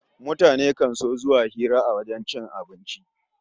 Mutane kan so zuwa hira a wajen cin abinci